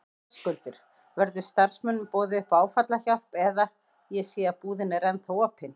Höskuldur: Verður starfsmönnum boðið upp á áfallahjálp eða, ég sé að búðin er ennþá opin?